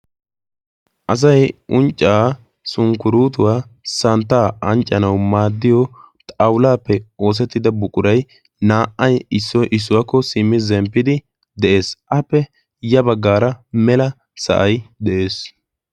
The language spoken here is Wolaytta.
Asay unccaa sunkkuruutuwaa santtaa anccanau maaddiyo xaulaappe oosettida buqurai naa"ai issoi issuwaakko simmi zemppidi de'ees. appe ya baggaara mela sa'ay de'ees.